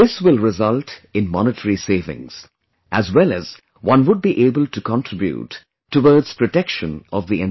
This will result in monetary savings, as well as one would be able to contribute towards protection of the environment